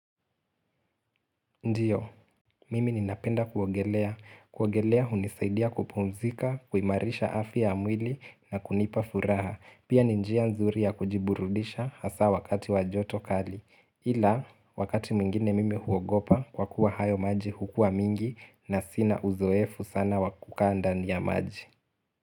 Ndiyo, mimi ninapenda kuogelea. Kuogelea hunisaidia kupumzika, kuimarisha afya ya mwili na kunipa furaha. Pia ni njia nzuri ya kujiburudisha hasa wakati wa joto kali. Ila, wakati mingine mimi huogopa kwa kuwa hayo maji huwa mengi na sina uzoefu sana wa kukaa ndani ya maji.